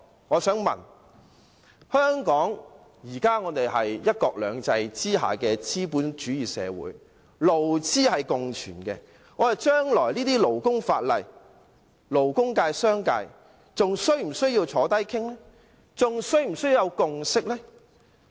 香港是"一國兩制"下的資本主義社會，勞資共存，就將來的勞工法例，勞工界和商界是否仍要坐下來商討？